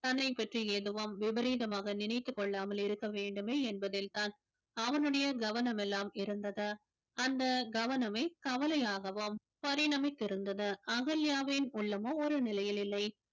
தன்னைப் பற்றி எதுவும் விபரீதமாக நினைத்துக் கொள்ளாமல் இருக்க வேண்டுமே என்பதில்தான் அவனுடைய கவனமெல்லாம் இருந்தது அந்த கவனமே கவலையாகவும் பரிணமித்திருந்தது அகல்யாவின் உள்ளமோ ஒரு நிலையில் இல்லை